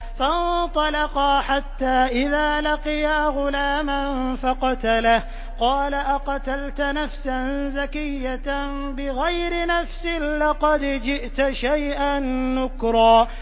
فَانطَلَقَا حَتَّىٰ إِذَا لَقِيَا غُلَامًا فَقَتَلَهُ قَالَ أَقَتَلْتَ نَفْسًا زَكِيَّةً بِغَيْرِ نَفْسٍ لَّقَدْ جِئْتَ شَيْئًا نُّكْرًا